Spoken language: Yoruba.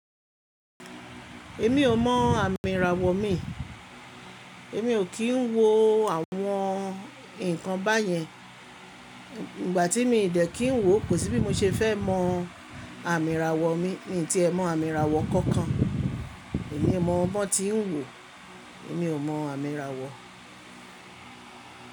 Èmi ò mọ àmì ìràwọ̀ mi. Èmi ò kí ń wo àwọn nǹkan báyẹn. Ìgbà tí mi ò dẹ̀ kín ń wò kò sí bí mo ṣe fẹ́ mọ àmì ìràwọ̀ mi ní ti ẹ̀ mọ àmì ìràwọ̀ kankan. Èmi mọ bọ́ tí ń wò, èmi ò mọ àmì ìràwọ̀.